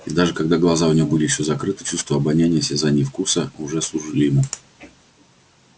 и даже когда глаза у него были ещё закрыты чувства обоняния осязания и вкуса уже служили ему